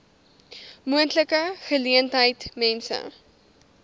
moontlike geleentheid mense